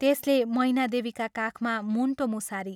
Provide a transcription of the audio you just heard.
त्यसले मैनादेवीका काखमा मुण्टो मुसारी।